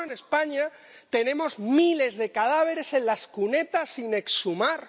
Solo en España tenemos miles de cadáveres en las cunetas sin exhumar.